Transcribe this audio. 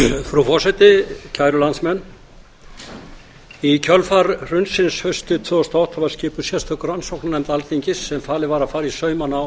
frú forseti kæru landsmenn í kjölfar hrunsins haustið tvö þúsund og átta var skipuð sérstök rannsóknarnefnd alþingis sem falið var að fara í saumana á